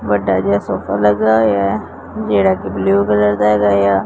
ਵੱਡਾ ਜਿਹਾ ਸੋਫਾ ਲੱਗਿਆ ਹੋਇਆ ਐ ਜਿਹੜਾ ਕਿ ਬਲੂ ਕਲਰ ਦਾ ਹੈਗਾ ਆ।